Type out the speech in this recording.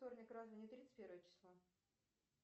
вторник разве не тридцать первое число